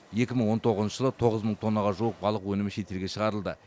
екі мың он тоғызыншы жылы тоғыз мың тоннаға жуық балық өнімі шетелге шығарылды